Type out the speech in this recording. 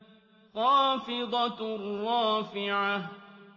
خَافِضَةٌ رَّافِعَةٌ